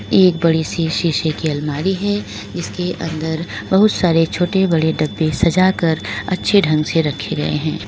एक बड़ी सी शीशे की अलमारी है इसके अंदर बहुत सारे छोटे बड़े डब्बे सजा कर अच्छे ढंग से रखे गए हैं।